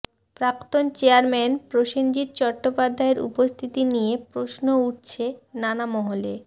প্রাক্তন চেয়ারম্যান প্রসেনজিৎ চট্টোপাধ্যায়ের উপস্থিতি নিয়ে প্রশ্ন উঠছে নানা মহলে